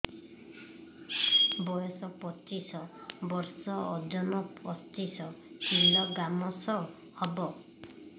ବୟସ ପଚିଶ ବର୍ଷ ଓଜନ ପଚିଶ କିଲୋଗ୍ରାମସ ହବ